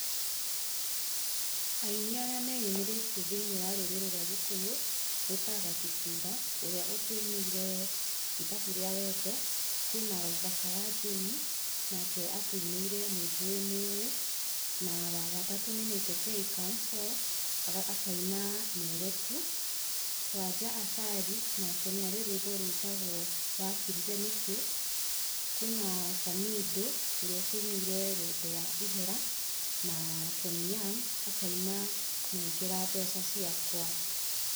Aini arĩa meyũmirĩtie thĩinĩ wa rũrĩrĩ rwa gĩkũyũ nĩ ta Gatutura, ũrĩa ũtũinĩire ithabu rĩa wendo, kwĩna Waithaka wa Jane nake atũinĩire nĩ njũĩ nĩ ũĩ, na wagatatũ nĩ 90K Kamso, akaĩna mere tu, Wanja Asali nake nĩ arĩ rũimbo rũĩtagwo wakirire nĩkĩ? kwĩna Samindo ũrĩa ũtũinĩire wendo wa ihera, na Tony Young akaina negera mbeca ciakwa.